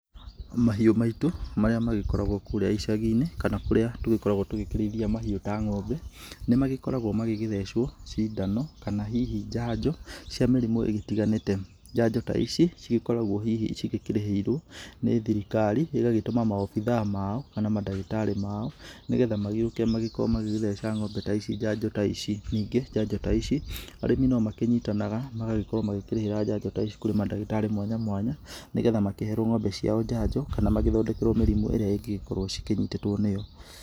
Mahiũ maĩtũ, marĩa magĩkoragwo kũrĩa ĩshagi-inĩ, kana kũrĩa tũgĩkoragwo tũgĩkĩrĩithia mahiũ ta ngo'ombe, nĩ magĩkoragwo magĩgĩtheshwo cindano kana hihi njanjo cia mĩrimũ ĩtiganĩte. Njanjo ta ici cigĩkoragwo hihi cigĩkĩrĩhĩirwo nĩ thirikari, ĩgagĩtũma maabithaa ao, kana madagĩtarĩ mao, nĩ getha magĩũke magĩkorwo magĩgĩthesha ngo'mbe ta ici njanjo ta ici. Ningĩ njanjo ta ici, andũ no makĩnyitanaga magagĩkorwo makĩgira njanjo ici kũrĩ madagĩtarĩ mwanya mwanya nĩ getha makĩherwo ng'ombe ciao njanjo, kana magĩthondekerwo mĩrĩmu ĩrĩa ĩngĩgĩkorwo cikĩnyitĩtwo nĩyo.